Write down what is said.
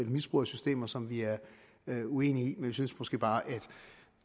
misbrug af systemer som vi er uenige i men vi synes måske bare at